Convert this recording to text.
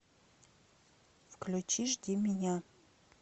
включи жди меня